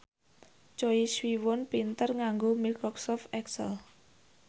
Choi Siwon pinter nganggo microsoft excel